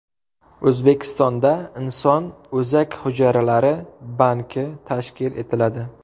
O‘zbekistonda inson o‘zak hujayralari banki tashkil etiladi.